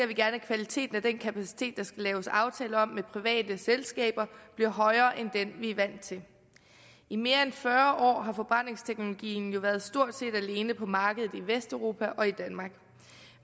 vi gerne at kvaliteten af den kapacitet der skal laves aftale om med private selskaber bliver højere end den vi er vant til i mere end fyrre år har forbrændingsteknologien jo været stort set alene på markedet i vesteuropa og i danmark